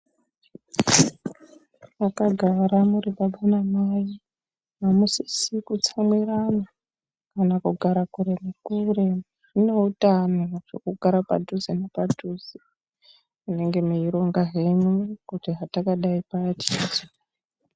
Mwakagara muri baba namai amusisi kutsamwirana kana kugara kure nekure. Zvine utano vantu kugara padhuze nepadhuze. Munenge meironga henyu kuti hatakadai payaa tichazo .